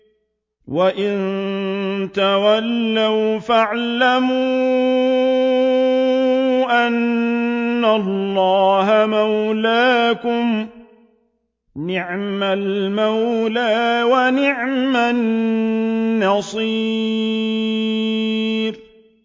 وَإِن تَوَلَّوْا فَاعْلَمُوا أَنَّ اللَّهَ مَوْلَاكُمْ ۚ نِعْمَ الْمَوْلَىٰ وَنِعْمَ النَّصِيرُ